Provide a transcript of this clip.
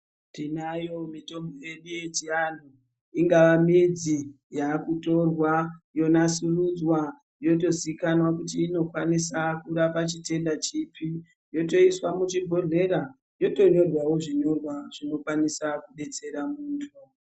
Tinayo mitombo yedu yechianhu, ingava midzi, yakutorwa yonasurudzwa, yotozikanwa kuti inokwanisa kurapa chitenda chipi, yotoiswa muchibhedhlera, yotonyorwawo zvinyorwa zvinokwanisa kudestera muntu.